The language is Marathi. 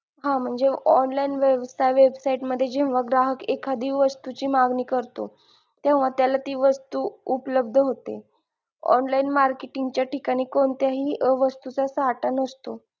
हा म्हणजे online website मध्ये जेव्हा एखादी वस्तू ची मागणी करतो तेव्हा त्याला ती वस्तू उपलब्द होते online marketing च्या ठिकाणी कोणत्याही अं वस्तू चा साठा नसतो.